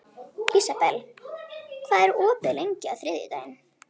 Ísabel, hvað er opið lengi á þriðjudaginn?